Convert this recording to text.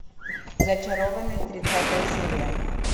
зачарованные тридцатая серия